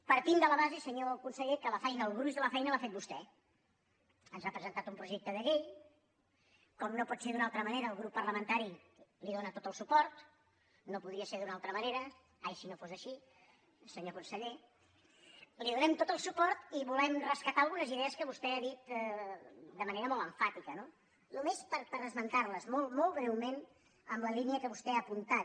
partim de la base senyor conseller que la feina el gruix de la feina l’ha fet vostè ens ha presentat un projecte de llei com no pot ser d’una altra manera el grup parlamentari li dóna tot el suport no podria ser d’una altra manera ai si no fos així senyor conseller li donem tot el suport i volem rescatar algunes idees que vostè ha dit de manera molt emfàtica no només per esmentar les molt molt breument en la línia que vostè ha apuntat